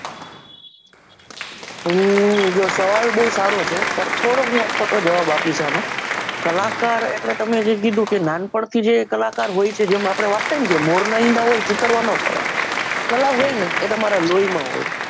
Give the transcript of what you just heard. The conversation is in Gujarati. હમ જો સવાલબહુ સારો છે પણ થોડોક હું અટપટો જવાબ આપીશ આનો કલાકાર એટલે તમને જેમ કીધું કે નાનપણથી જે કલાકાર હોય છે જેમ આપણે વાત થઈકે મોર ના ઈંડા ચીતરવા ના પડે કલા હોય ને એ તમારા લોયમાં હોય